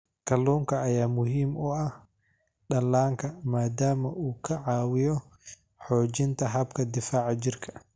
Kalluunka ayaa muhiim u ah dhallaanka maadaama uu ka caawiyo xoojinta habka difaaca jirka.